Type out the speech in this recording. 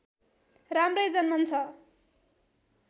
राम्रै जन्मन्छ